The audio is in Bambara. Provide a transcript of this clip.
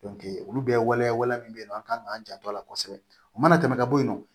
olu bɛ waleya wale min bɛ yen nɔ an kan k'an janto a la kosɛbɛ o mana tɛmɛ ka bɔ yen nɔ